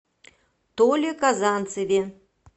толе казанцеве